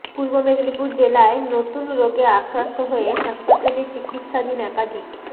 পূর্ব মেদিনীপুর জেলায় নতুন রোগে আক্রান্ত হয়ে হাসপাতালে চিকিৎসাধীন একাধিক